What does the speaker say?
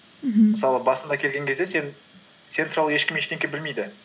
мхм мысалы басында келген кезде сен туралы ешкім ештеңе білмейді